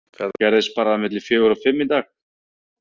Þetta gerðist bara milli fjögur og fimm í dag.